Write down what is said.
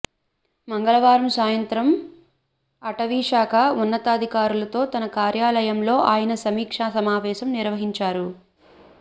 మంగళవారం సాయంత్రం అటవీశాఖ ఉన్నతాధికారులతో తన కార్యాలయంలో ఆయన సమీక్షా సమావేశం నిర్వహించారు